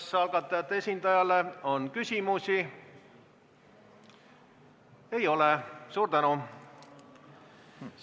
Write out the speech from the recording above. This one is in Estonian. Kas algatajate esindajale on küsimusi?